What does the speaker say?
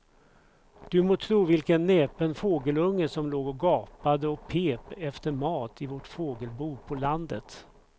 Du må tro vilken näpen fågelunge som låg och gapade och pep efter mat i vårt fågelbo på landet.